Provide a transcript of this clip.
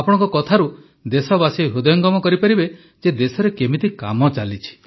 ଆପଣଙ୍କ କଥାରୁ ଦେଶବାସୀ ହୃଦୟଙ୍ଗମ କରିପାରିବେ ଯେ ଦେଶରେ କିପରି କାମ ଚାଲିଛି